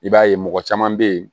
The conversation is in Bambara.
I b'a ye mɔgɔ caman bɛ yen